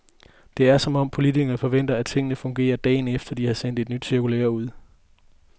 Det er, som om politikerne forventer, at tingene fungerer dagen efter, at de har sendt et nyt cirkulære ud.